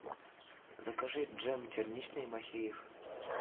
закажи джем черничный махеев